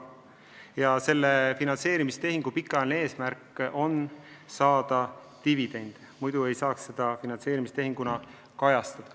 Ja selle finantseerimistehingu pikaajaline eesmärk on saada dividende, muidu ei saaks seda finantseerimistehinguna kajastada.